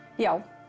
já